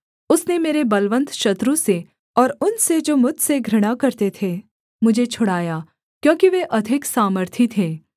उसने मेरे बलवन्त शत्रु से और उनसे जो मुझसे घृणा करते थे मुझे छुड़ाया क्योंकि वे अधिक सामर्थी थे